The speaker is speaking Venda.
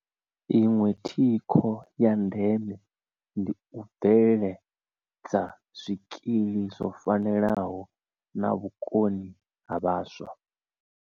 Iṅwe thikho ya ndeme ndi u bveledza zwikili zwo fanelaho na vhukoni ha vhaswa.